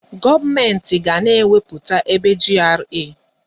Gọọmenti ga na-ekewapụta ebe GRA.